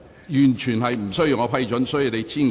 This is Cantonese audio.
完全無須經主席批准。